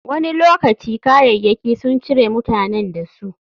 Wani lokaci, kayayyaki sun cire mutanen da su.